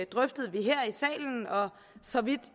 drøftede vi her i salen og så vidt